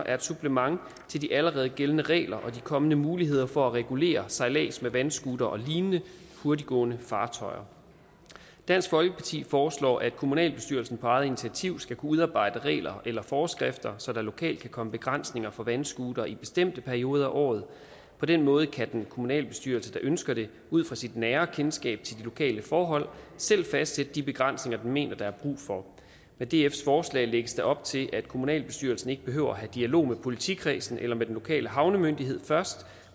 er et supplement til de allerede gældende regler og de kommende muligheder for at regulere sejlads med vandscootere og lignende hurtiggående fartøjer dansk folkeparti foreslår at kommunalbestyrelsen på eget initiativ skal kunne udarbejde regler eller forskrifter så der lokalt kan komme begrænsninger for vandscootere i bestemte perioder af året på den måde kan den kommunalbestyrelse der ønsker det ud fra sit nære kendskab til de lokale forhold selv fastsætte de begrænsninger den mener der er brug for med dfs forslag lægges der op til at kommunalbestyrelsen ikke behøver at have dialog med politikredsen eller med den lokale havnemyndighed først